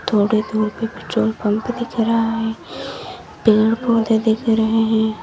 थोड़ी दूर पे पेट्रोल पंप दिख रहा है पेड़ पौधे दिख रहे हैं।